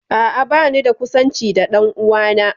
A'a, banida kusanci da ɗan'uwana